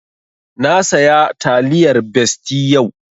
Na saya taliyar besti yau